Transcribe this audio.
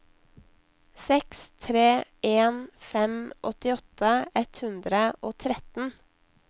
seks tre en fem åttiåtte ett hundre og tretten